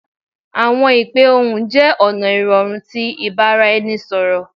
Awọn ipe ohun jẹ ọna irọrun ti ibaraẹnisọrọ